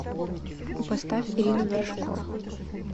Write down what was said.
поставь ирину вершкову